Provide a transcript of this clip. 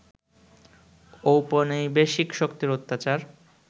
ঔপনিবেশিক শক্তির অত্যাচার